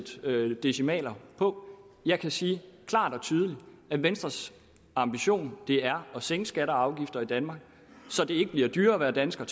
sætte decimaler på jeg kan sige klart og tydeligt at venstres ambition er at sænke skatter og afgifter i danmark så det ikke bliver dyrere at være dansker